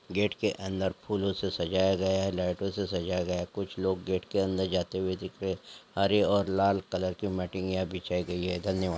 गेट के अंदर फूलों से सजाया गया है लाइटों से सजाया गया है कुछ लोग गेट के अंदर जाते हुए दिख रहे हैं हरे और लाल कलर के मैट बिछाई गई है धन्यवाद।